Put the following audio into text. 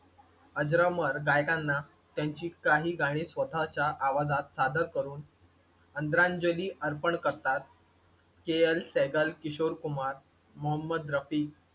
अजरामर गायकांना त्यांची काही गाणी स्वतःच्या आवाजात सादर करून आदरांजली अर्पण करतात. KL सेहगल, किशोर कुमार, मोहम्मद रफी,